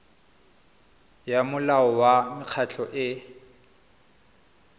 ya molao wa mekgatlho e